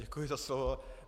Děkuji za slovo.